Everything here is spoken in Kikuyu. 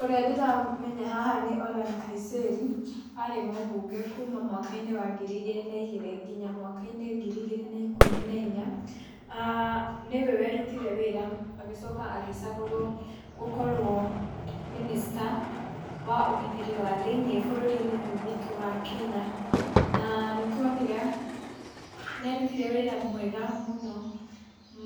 Ũrĩa ndĩramenya haha nĩ Ole Nkaiserry, arĩ mũbunge kuuma mwaka-inĩ wa ngiri igĩrĩ na igĩrĩ, nginya mwaka-inĩ ngiri igĩrĩ na ikũmi na inya, aah nĩwe werutire wĩra, agĩcoka agĩcagũrwo gũkorwo mĩnĩsta wa ũgitĩri wa thĩinĩ, bũrũri-inĩ ũyũ witũ wa Kenya, na nĩ twonire nĩ arutire wĩra mwega mũno